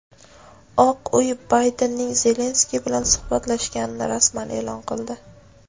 Oq uy Baydenning Zelenskiy bilan suhbatlashganini rasman eʼlon qildi.